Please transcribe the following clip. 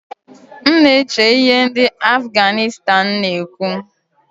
M na-eche ihe ndị Afganistan na-ekwu